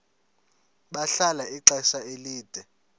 bahlala ixesha elide